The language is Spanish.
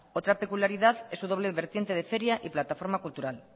otra peculiaridad es su doble vertiente de feria y plataforma cultural